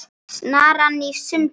Snaran í sundur.